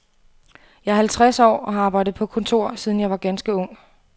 Jeg er halvtreds år og har arbejdet på kontor, siden jeg var ganske ung.